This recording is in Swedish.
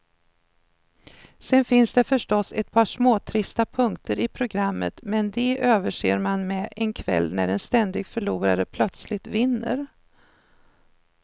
Sen finns det förstås ett par småtrista punkter i programmet, men de överser man med en kväll när en ständig förlorare plötsligt vinner.